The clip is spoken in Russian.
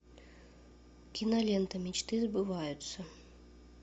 кинолента мечты сбываются